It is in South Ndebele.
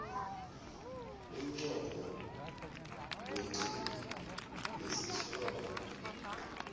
umnqopho weqhinga lesitjhaba